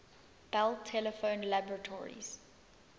bell telephone laboratories